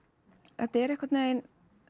þetta er einhvern veginn